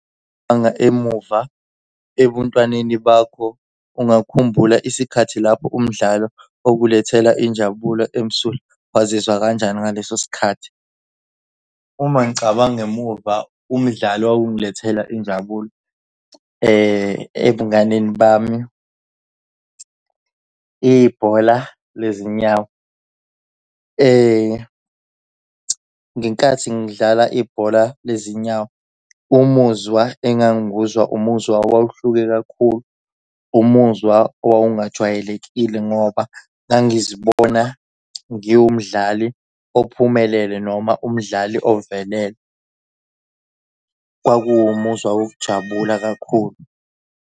emuva ebuntwaneni bakho ungakhumbula isikhathi lapho umdlalo okukulethela injabulo emsulwa, wazizwa kanjani ngaleso sikhathi? Uma ngicabanga emuva umdlalo wawungilethela injabulo ebunganeni bami, ibhola lezinyawo. Ngenkathi ngidlala ibhola lezinyawo umuzwa engangiwuzwa umuzwa wawuhluke kakhulu, umuzwa owawungajwayelekile ngoba ngangizibona ngiwumdlali ophumelele noma umdlali ovelele. Kwakuwumuzwa wokujabula kakhulu.